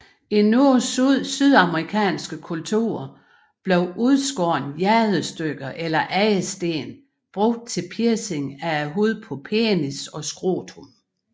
I nogle sydamerikanske kulturer blev udskårne jadestykker eller andre sten brugt til piercing af huden på penis og scrotum